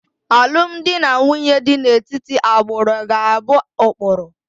Alụmdi na nwunye dị n'etiti agbụrụ ga-abụ ụkpụrụ